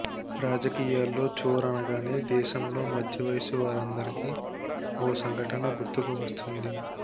రాజకీయాల్లో చోర్ అనగానే దేశంలో మధ్యవయస్సు వారందరికీ ఓ సంఘటన గుర్తుకువస్తుంది